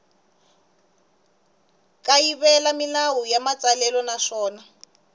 kayivela milawu ya matsalelo naswona